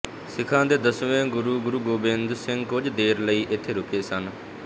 ਸਿੱਖ ਦੇ ਦਸਵੇਂ ਗੁਰੂ ਗੁਰੂ ਗੋਬਿੰਦ ਸਿੰਘ ਕੁਝ ਦੇਰ ਲਈ ਇੱਥੇ ਰੁਕੇ ਸਨ